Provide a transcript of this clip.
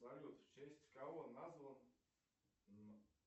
салют в честь кого назван